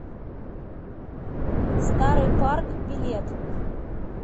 старый парк билет